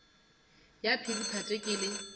ya phiri phate ke le